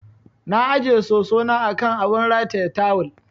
Na ajiye soso na a kan abun rataye tawul.